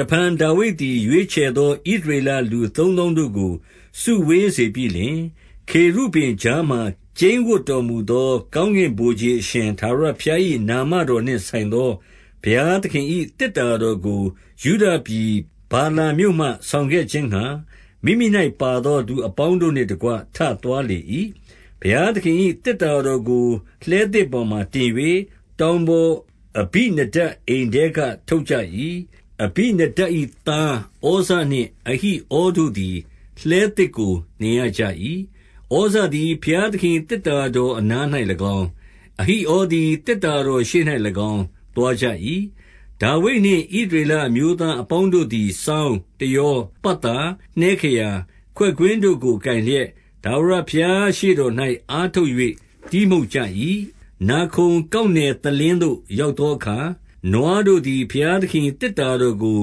တဖန်ဒါဝိဒ်သည် ရွေးချယ်သောဣသရေလ လူသုံးသောင်းတို့ကို စုဝေးစေပြီးလျှင်၊ 2 ခေရုဗိမ်ကြားမှာကျိန်းဝပ်တော်မူသော ကောင်းကင်ဗိုလ်ခြေအရှင် ထာဝရဘုရား၏ နာမတော်နှင့် ဆိုင်သော ဘုရားသခင်၏သေတ္တာတော်ကို ယုဒပြည် ဗာလာမြို့မှဆောင်ခဲ့ခြင်းငှါ၊ မိမိ၌ပါသော သူအပေါင်းတို့ နှင့်တကွ ထသွားလေ၏။ 3 ဘုရားသခင်၏ သေတ္တာတော်ကို လှည်းသစ် ပေါ်မှာတင်၍ တောင်ပေါ်အဘိနဒပ်အိမ်ထဲက ထုတ်ကြ ၏။ အဘိနဒပ်၏သား ဩဇနှင့်အဟိဩတို့သည် လှည်းသစ်ကိုနှင်ရကြ၏။ 4 ဩဇသည်ဘုရားသခင်၏ သေတ္တာတော်အနား၌၎င်း၊ အဟိဩသည် သေတ္တာတော်ရှေ့၌၎င်း သွားကြ၏။ 5 ဒါဝိဒ်နှင့် ဣသရေလအမျိုးသားအပေါင်းတို့သည် စောင်း၊ တယော၊ ပတ်သာ၊ နှဲခရာ၊ ခွက်ကွင်းတို့ကို ကိုင်လျက်၊ ထာဝရဘုရားရှေ့တော်၌ အားထုတ်၍ တီးမှုတ်ကြ၏။ 6 နာခုန်ကောက်နယ်သလင်းသို့ ရောက်သောအခါ၊ နွားတို့သည် ဘုရားသခင်၏ သေတ္တာတော်ကို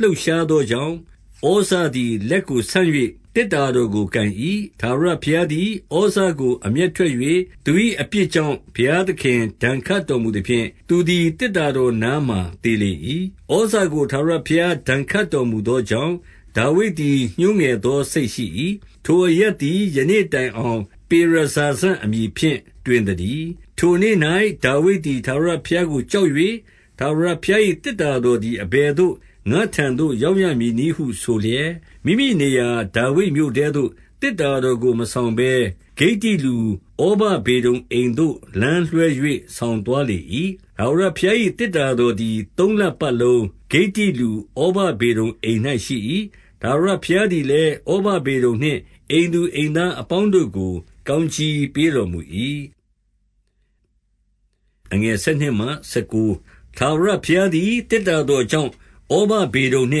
လှုပ်ရှားသောကြောင့်၊ ဩဇသည် လက်ကိုဆန့်၍ သေတ္တာတော်ကို ကိုင်၏။ 7 ထာဝရဘုရားသည် ဩဇကိုအမျက်ထွက်၍ သူ၏အပြစ်ကြောင့် ဘုရားသခင်ဒဏ်ခတ်တော်မူသဖြင့်၊ သူသည် သေတ္တာတော်နားမှာ သေလေ၏။ 8 ဩဇကို ထာဝရဘုရား ဒဏ်ခတ်တော်မူသောကြောင့်၊ ဒါဝိဒ်သည် ညှိုးငယ်သောစိတ်ရှိ၏။ ထိုအရပ် သည် ယနေ့တိုင်အောင် ပေရဇာဇအမည်ဖြင့်တွင် သတည်း။ 9 ထိုနေ့၌ ဒါဝိဒ်သည် ထာဝရဘုရားကိုကြောက်၍၊ ထာဝရဘုရား၏ သေတ္တာတော်သည် အဘယ်သို့ ငါ့ထံသို့ ရောက်ရမည်နည်းဟု ဆိုလျက်၊ 10 မိမိနေရာဒါဝိဒ်မြို့ထဲသို့ သေတ္တာတော်ကို မဆောင်ဘဲ ဂိတ္တိလူဩဗဒေဒုံအိမ်သို့ လမ်းလွဲ၍ ဆောင် သွားလေ၏။ 11 ထာဝရဘုရား၏သေတ္တာတော်သည် သုံးလပတ်လုံး ဂိတိလူဩဗဒေဒုံအိမ်၌ရှိ၏။ ထာဝရဘုရားသည် လည်း၊ ဩဗဒေဒုံနှင့် အိမ်သူအိမ်သားအပေါင်းတို့ကို ကောင်းကြီးပေးတော်မူ၏။ 12 ထာဝရဘုရားသည် သေတ္တာတော်ကြောင့် ဩဗဒေဒုံနှ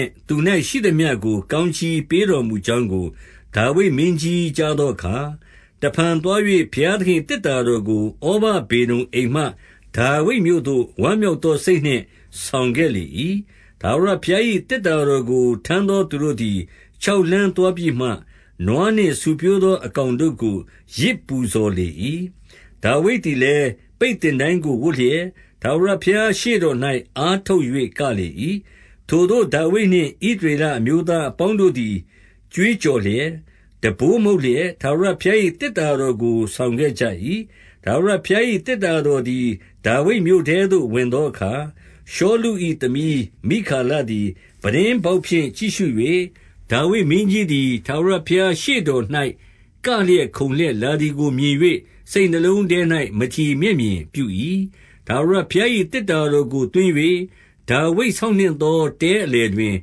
င့် သူ၌ရှိသမျှကို ကောင်းကြီးပေးတော်မူကြောင်း ကို ဒါဝိဒ်မင်းကြီးကြားသောအခါ၊ တဖန်သွား၍ ဘုရားသခင်၏ သေတ္တာတော်ကိုဩဗဒေဒုံအိမ်မှ ဒါဝိဒ်မြို့သို့ ဝမ်းမြောက်သောစိတ်နှင့် ဆောင်ခဲ့လေ၏။ 13 ထာဝရဘုရား၏ သေတ္တာတော်ကို ထမ်းသောသူတို့သည်ခြောက်လှမ်းသွားပြီးမှ၊ နွားနှင့်ဆူဖြိုးသော အကောင်တို့ကို ယဇ်ပူဇော်လေ၏။ 14 ဒါဝိဒ်သည်လည်း ပိတ်သင်တိုင်းကိုဝတ်လျက်၊ ထာဝရဘုရားရှေ့တော်၌ အားထုတ်၍ကလေ၏။ 15 ထိုသို့ဒါဝိဒ်နှင့် ဣသရေလအမျိုးသားအပေါင်းတို့သည် ကြွေးကြော်လျက်၊ တံပိုးမှုတ်လျက်၊ ထာဝရ ဘုရား၏သေတ္တာတော်ကို ဆောင်ခဲ့ကြ၏။ 16 ထာဝရဘုရား၏သေတ္တာတော်သည် ဒါဝိမြို့ထဲသို့ရောက်သောအခါ၊ ရှောလု၏သမီးမိခါလသည် ပြတင်းပေါက်ဖြင့် ကြည့်၍၊ ဒါဝိဒ်မင်းကြီးသည် ထာဝရဘုရားရှေ့တော်၌ ကလျက်ခုန်လျက်လာသည်ကိုမြင်၍ စိတ်နှလုံးထဲ၌ မထီမဲ့မြင်ပြု၏။ 17 ထာဝရဘုရား၏ သေတ္တာတော်ကိုသွင်း၍ ဒါဝိဒ် ဆောက်နှင့်သောတဲအလယ်တွင်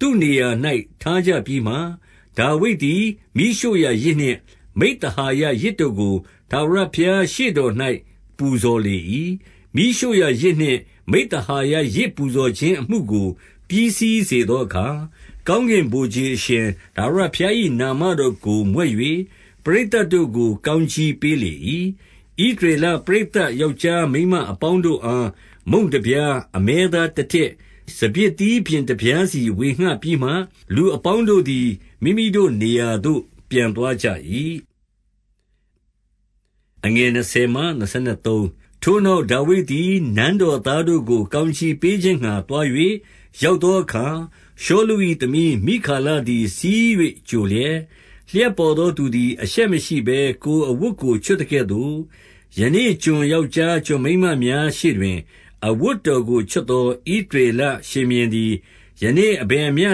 သူ့နေရာ၌ ထားကြပြီးမှ၊ ဒါဝိဒ်သည်မီးရှို့ရာယဇ်နှင့် မိဿဟာယယဇ်တို့ကို ထာဝရဘုရားရှေ့တော်၌ ပူဇော်လေ၏။ 18 မီးရှို့ရာယဇ်နှင့်မိဿဟာယ ယဇ်ပူဇော်ခြင်း အမှုကို ပြီးစီးသောအခါ၊ ကောင်းကင်ဗိုလ်ခြေ အရှင် ထာဝရဘုရား၏ နာမတော်ကိုမြွက်၍ ပရိသတ်တို့ကို ကောင်းကြီးပေးလေ၏။ 19 ဣသရေလပရိသတ် ယောက်ျားမိန်းမအပေါင်းတို့အား မုန့်တပြား၊ အမဲသားတတစ်၊ စပြစ်သီး ပျဉ် တပြားစီ ဝေငှပြီးမှ၊ လူအပေါင်းတို့သည် မိမိတို့နေရာသို့ ပြန်သွားကြ၏။ 20 ထိုနောက် ဒါဝိဒ်သည် နန်းတော်သားတို့ကို ကောင်းကြီးပေးခြင်းငှါ သွား၍ရောက်သောအခါ၊ ရှောလု ၏သမီး မိခါလသည် ဆီး၍ကြိုလျက်၊ လျှပ်ပေါ်သောသူသည် အရှက်မရှိဘဲ ကိုယ်အဝတ်ကိုချွတ်သကဲ့သို့၊ ယနေ့ ကျွန်ယောက်ျား ကျွန်မိန်းမများရှေ့တွင် အဝတ်တော်ကိုချွတ်သော ဣသရေလရှင်ဘုရင်သည်၊ ယနေ့ အဘယ်မျှ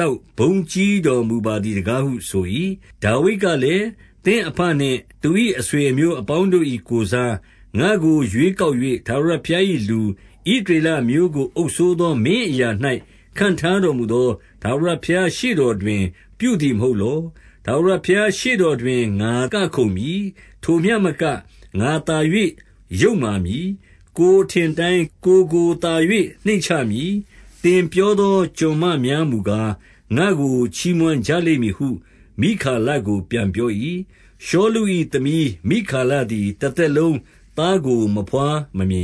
လောက် ဘုန်းကြီးတော်မူပါသည်တကားဟုဆို၏။ 21 ဒါဝိဒ်ကလည်း၊ သင့်အဘနှင့်သူ၏ အဆွေအမျိုး အပေါင်းတို့၏ကိုယ်စား၊ ငါ့ကိုရွေးကောက်၍ ထာဝရ ဘုရား၏လူ၊ ဣသရေလအမျိုးကို အုပ်စိုးသော မင်းအရာ၌ ခန်းထားတော်မူသော ထာဝရဘုရားရှေ့တော်တွင် ပြုသည်မဟုတ်လော။ ထာဝရဘုရားရှေ့တော်တွင် ငါ ကခုန်မည်။ 22 ထိုမျှမက၊ ငါသာ၍ယုတ်မာမည်။ ကိုယ် အထင်အတိုင်းကိုယ်ကိုသာ၍ နှိမ့်ချမည်၊ သင်ပြောသော ကျွန်မများမူကား၊ ငါ့ကိုချီးမွမ်းကြလိမ့်မည်ဟု မိခါလကို ပြန်ပြော၏။ 23 ရှောလု၏သမီးမိခါလသည် တသက်လုံးသားကို မဘွားမမြင်